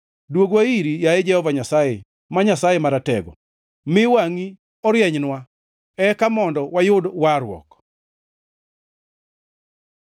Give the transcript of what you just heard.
Dwogwa iri, yaye Jehova Nyasaye, ma Nyasaye Maratego; mi wangʼi orienynwa, eka mondo wayud warruok.